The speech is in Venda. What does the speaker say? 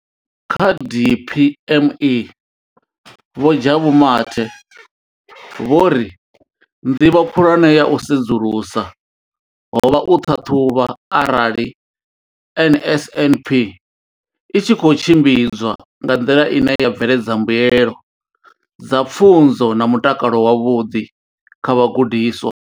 Kha DPME, Vho Jabu Mathe, vho ri nḓivho khulwane ya u sedzulusa ho vha u ṱhaṱhuvha arali NSNP i tshi khou tshimbidzwa nga nḓila ine ya bveledza mbuelo dza pfunzo na mutakalo wavhuḓi kha vhagudiswa.